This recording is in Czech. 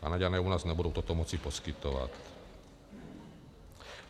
Kanaďané u nás nebudou toto moci poskytovat.